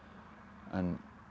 en